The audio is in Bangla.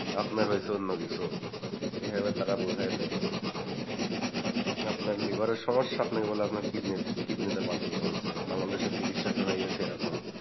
আপনার হয়েছে অন্যকিছু এভাবে তার বুঝায় দেয় আপনার liver এর সমস্যা আপনাকে বলল আপনার kidney তে পাথর জমছে, বাংলাদেশের চিকিৎসাটা হয়ে গেছে এরকম।